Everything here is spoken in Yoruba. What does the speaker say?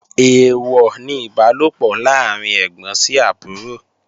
Èèwọ̀ ni Ìbálòpọ̀ láàrín ẹ́gbọ́n sí àbúrò